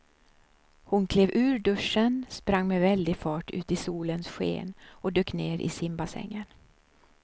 Hon klev ur duschen, sprang med väldig fart ut i solens sken och dök ner i simbassängen.